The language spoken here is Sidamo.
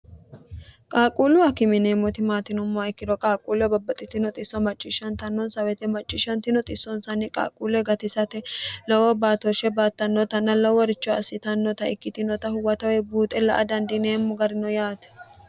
qaaquullu hakime yineemmoti maati yinummoha ikkiro qaaquullua babbaxxitino xisso macciishshantannonsa weete macciishshantino xissonsanni qaaquulle gatisate lowo baatooshshe baattannotanna loworicho assitannota ikkitinota huwatawe buuxe la''a dandineemmo gari no yaate